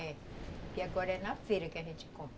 É. Tucupi agora é na feira que a gente compra.